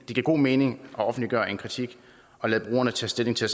god mening at offentliggøre en kritik og lade brugerne tage stilling til